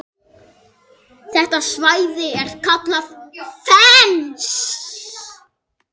Þetta svæði er kallað Fens.